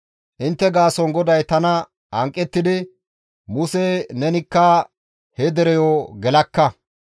«Intte gaason GODAY tana hanqettidi, ‹Muse nenikka he dereyo gelakka.